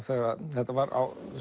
þetta var